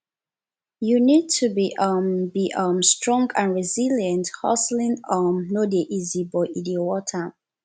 you need to be um be um strong and resilient hustling um no dey easy but e dey worth am